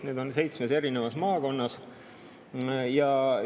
Need seitsmes eri maakonnas.